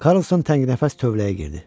Karlson tənginəfəs tövləyə girdi.